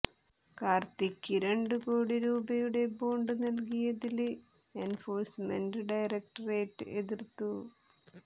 കാര്ത്തിയ്ക്ക് രണ്ടു കോടി രൂപയുടെ ബോണ്ട് നല്കിയതില് എന്ഫോഴ്സ്മെന്റ് ഡയറക്ടറേറ്റ് എതിര്ത്തു